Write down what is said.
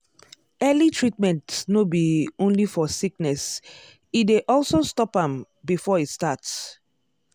early treatment no be only for sickness e dey also stop am before e start.